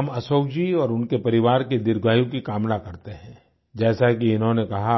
हम अशोक जी और उनके परिवार के दीर्घायु की कामना करते हैं जैसा कि इन्होंने कहा